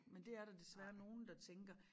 Men det er der desværre nogen der tænker